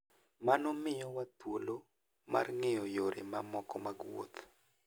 Mano miyowa thuolo mar ng'eyo yore mamoko mag wuoth.